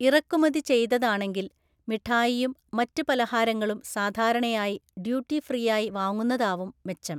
ഇറക്കുമതി ചെയ്തതാണെങ്കില്‍ മിഠായിയും മറ്റ് പലഹാരങ്ങളും സാധാരണയായി ഡ്യൂട്ടി ഫ്രീയായി വാങ്ങുന്നതാവും മെച്ചം.